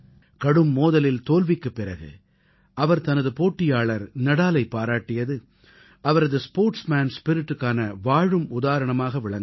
கடும் மோதலில் தோல்விக்குப் பிறகு அவர் தனது போட்டியாளர் நாடாலைப் பாராட்டியது அவரது ஸ்போர்ட்ஸ்மேன் spiritக்கான வாழும் உதாரணமாக விளங்குகிறது